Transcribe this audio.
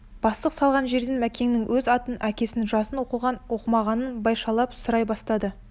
бастық салған жерден мәкеннің өз атын әкесін жасын оқыған оқымағанын башайлап сұрай бастады